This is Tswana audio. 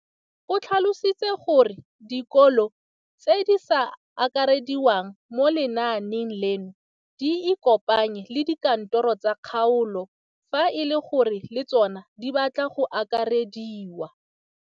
O tlhalositse gore dikolo tse di sa akarediwang mo lenaaneng leno di ikopanye le dikantoro tsa kgaolo fa e le gore le tsona di batla go akarediwa.